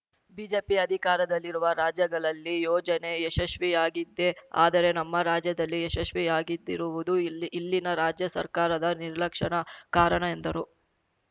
BJP ಅಧಿಕಾರದಲ್ಲಿರುವ ರಾಜ್ಯಗಳಲ್ಲಿ ಯೋಜನೆ ಯಶಸ್ವಿಯಾಗಿದೆ ಆದರೆ ನಮ್ಮ ರಾಜ್ಯದಲ್ಲಿ ಯಶಸ್ವಿಯಾಗಿದ್ದಿರುವುದು ಇಲ್ಲಿ ಇಲ್ಲಿನ ರಾಜ್ಯ ಸರ್ಕಾರದ ನಿರ್ಲಕ್ಷ್ಯಣ ಕಾರಣ ಎಂದರು